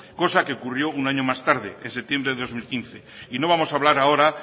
cosa que ocurrió un año más tarde en septiembre de dos mil quince y no vamos a hablar ahora